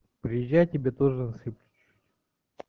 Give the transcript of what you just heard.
приезжай тебе тоже насыплю